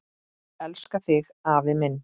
Elska þig afi minn.